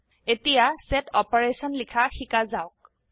এতিয়া set operation লিখা শিকা যাওক